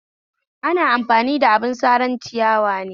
Ana amfani da abin saran ciyawa ne